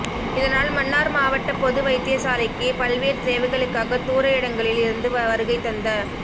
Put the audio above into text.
இதனால் மன்னார் மாவட்ட பொது வைத்தியசாலைக்கு பல்வேறு தேவைகளுக்காக தூர இடங்களில் இருந்து வருகை தந்த